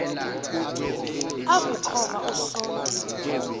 aku khova usonti